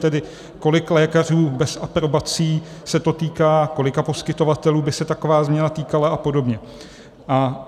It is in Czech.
Tedy kolika lékařů bez aprobací se to týká, kolika poskytovatelů by se taková změna týkala a podobně.